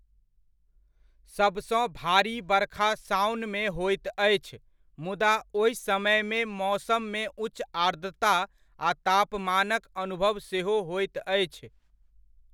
सबसँ भारी बरखा साओनमे होइत अछि मुदा ओहि समयमे मौसममे उच्च आर्द्रता आ तापमानक अनुभव सेहो होइत अछि।